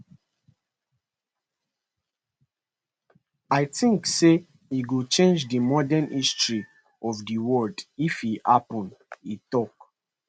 i tink say e go change di modern history of di world if e happun e tok